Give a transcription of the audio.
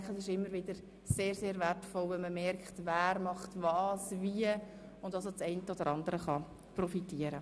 Es ist immer wieder sehr wertvoll zu merken, wer was wie macht, und so kann man dann vom Einen oder Anderen profitieren.